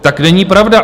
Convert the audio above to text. Tak není pravda...